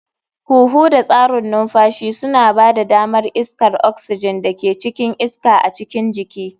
Huhu da tsarin numfashi suna ba da damar iskar oxygen da ke cikin iska a cikin jiki.